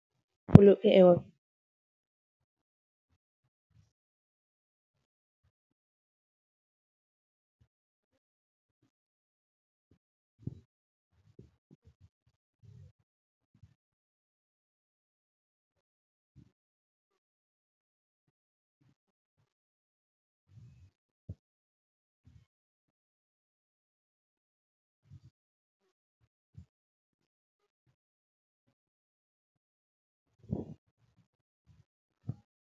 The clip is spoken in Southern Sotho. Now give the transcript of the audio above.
Polokeho.